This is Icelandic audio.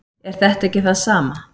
er þetta ekki það sama